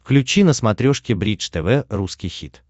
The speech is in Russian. включи на смотрешке бридж тв русский хит